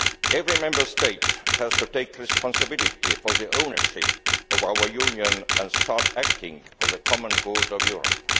Every Member State has to take responsibility for the ownership of our Union and start acting for the common good of Europe.